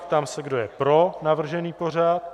Ptám se, kdo je pro navržený pořad.